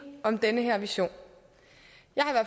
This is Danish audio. om den her vision